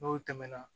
N'o tɛmɛna